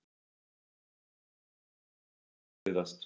Ásgeir: Hvað hefur verið erfiðast?